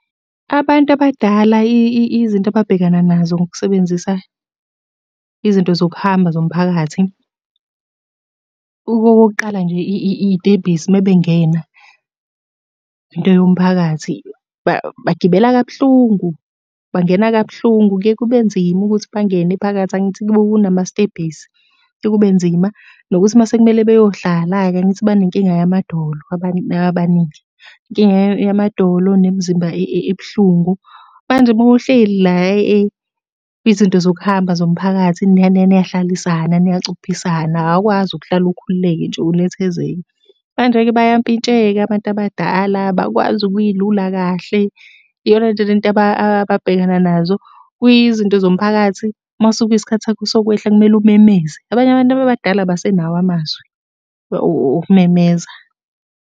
Abantu abadala izinto ababhekana nazo ngokusebenzisa izinto zokuhamba zomphakathi. Okokuqala nje iy'tebhisi uma bengena. Into yomphakathi, bagibela kabuhlungu, bangena kabuhlungu, kuye kube nzima ukuthi bangene phakathi angithi kunamastebhisi, kufike kube nzima, nokuthi uma sekumele beyohlala-ke angithi banenkinga yamadolo abaningi. Inkinga yamadolo nemzimba ebuhlungu. Manje uma uhleli la izinto zokuhamba zomphakathi niyahlalisana, niyacuphisana awukwazi ukuhlala ukhululeke nje unethezeke. Manje-ke bayampintsheka abantu abadala, abakwazi ukuy'lula kahle. Iyo lento ababhekana nazo. Kuyizinto zomphakathi uma kusuke kuyisikhathi sakho sokwehla kumele umemeze. Abanye abantu abadala abasenawo amazwi okumemeza.